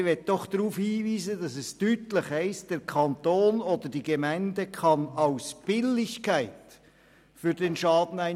Ich möchte jedoch darauf hinweisen, dass es deutlich heisst, «der Kanton oder die Gemeinde kann aus Billigkeit für den Schaden einstehen».